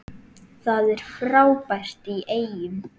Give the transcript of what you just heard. Það var frábært í Eyjum.